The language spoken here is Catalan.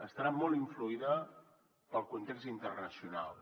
estarà molt influïda pel context internacional